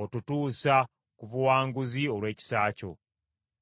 otutuusa ku buwanguzi olw’ekisa kyo.